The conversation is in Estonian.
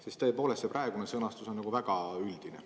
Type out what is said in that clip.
Sest tõepoolest, see praegune sõnastus on väga üldine.